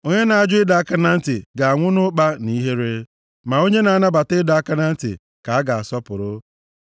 Onye na-ajụ ịdọ aka na ntị ga-anwụ nʼụkpa na nʼihere; ma onye na-anabata ịdọ aka na ntị ka a ga-asọpụrụ.